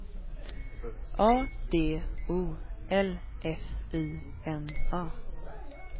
A D O L F I N A